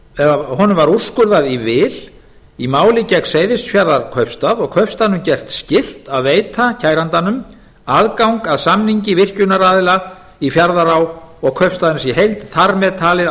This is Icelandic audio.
alþingismanni og iðnaðarráðherra var úrskurðað í vil í máli gegn seyðisfjarðarkaupstað og kaupstaðnum gert skylt að veita kærandanum aðgang að samningi virkjunaraðila í fjarðará og kaupstaðarins í heild þar með talin ákvæðum